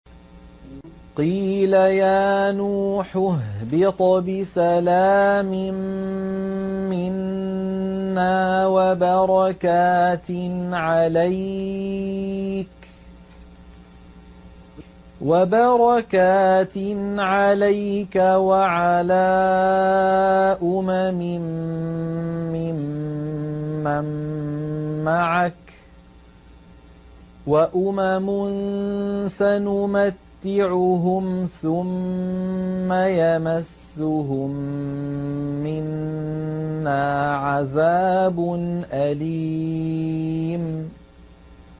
قِيلَ يَا نُوحُ اهْبِطْ بِسَلَامٍ مِّنَّا وَبَرَكَاتٍ عَلَيْكَ وَعَلَىٰ أُمَمٍ مِّمَّن مَّعَكَ ۚ وَأُمَمٌ سَنُمَتِّعُهُمْ ثُمَّ يَمَسُّهُم مِّنَّا عَذَابٌ أَلِيمٌ